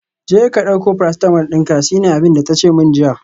Jeka dauko paracetamol dinka, shine abinda tace min jiya